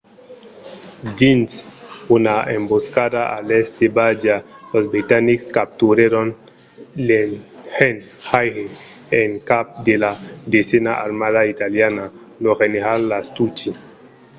dins una emboscada a l'èst de bardia los britanics capturèron l'engenhaire en cap de la desena armada italiana lo general lastucci